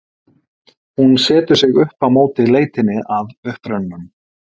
Hún setur sig upp á móti leitinni að upprunanum.